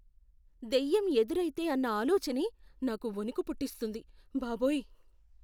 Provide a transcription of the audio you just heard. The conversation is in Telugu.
దెయ్యం ఎదురైతే అన్న ఆలోచనే నాకు వణుకు పుట్టిస్తుంది, బాబోయ్!